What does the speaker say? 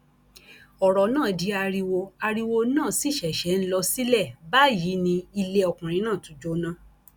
ọrọ náà di ariwo ariwo náà sì ṣẹṣẹ ń lọ sílẹ báyìí ni ilé ọkùnrin náà tún jóná